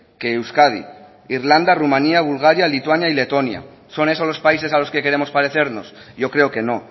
que euskadi irlanda rumanía bulgaria lituania y letonia son esos los países a los que queremos parecernos yo creo que no